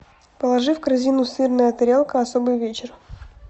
положи в корзину сырная тарелка особый вечер